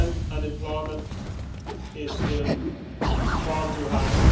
Unemployment is still far too high.